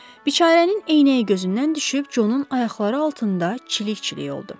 Biçarənin eynəyi gözündən düşüb Conun ayaqları altında çilik-çilik oldu.